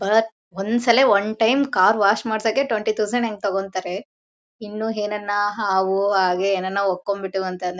ಬಾಳ ಒಂದು ಸಲ ಒನ್ ಟೈಮ್ ಕಾರ್ ವಾಶ್ ಮಾಡಕೆ ಟ್ವೆಂಟಿ ಟೌಸನ್ಡ್ ಹೆಂಗೆ ತಗೋತಾರೆ ಇನ್ನು ಏನಾರ ಹಾವು ಹಾಗೆ ಏನೇನೋ ಹೊಕ್ಕೊಂಡು ಬಿಟ್ಟವು ಅಂತ ಅಂದ್ರೆ--